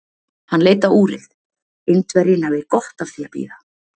Hann leit á úrið: Indverjinn hafði gott af því að bíða.